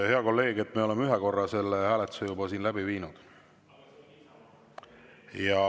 Hea kolleeg, me oleme ühe korra selle hääletuse juba läbi viinud.